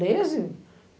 Desde?